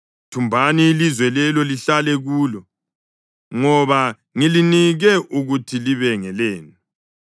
Thumbani ilizwe lelo lihlale kulo, ngoba ngilinike ukuthi libe ngelenu.